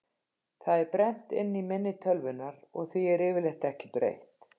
Það er brennt inn í minni tölvunnar og því er yfirleitt ekki breytt.